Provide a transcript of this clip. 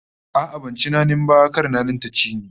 A'a, ban ci nanin ba, kar nanin ta ci ni